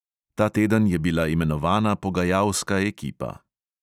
Ta teden je bila imenovana pogajalska ekipa.